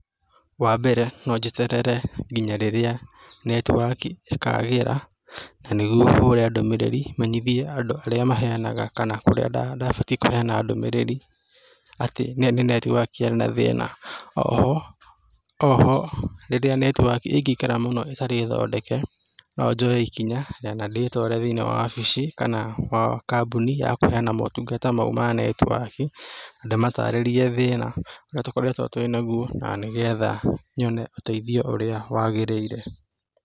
Wa mbere, no njeterere nginya rĩrĩa netiwaki ĩkaagĩra, na nĩguo hũũre ndũmĩrĩri menyithie andũ arĩa maheanaga kana kũrĩa ndabatie kũheana ndũmĩrĩri atĩ nĩ netiwaki yarĩ na thĩĩna. O ho, o ho, rĩrĩa netiwaki ĩngĩikara mũno ĩtarĩ thondeke, no njoye ikinya na ndĩĩtware thĩĩnĩ wa wabici kana kambũni ya kũheana motungata mau ma netiwaki, ndĩmataarĩrie thĩĩna ũrĩa tũkoretwo twĩ naguo na nĩ getha nyone ũteithio ũrĩa wagĩrĩire.